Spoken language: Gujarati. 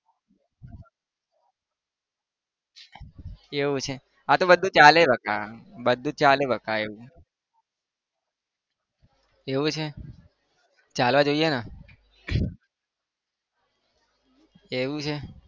એવું છે? હા તો બધું ચાલે બકા બધું ચાલે બકા એવું એવું છે? ચાલવા જોઈને એવું છે?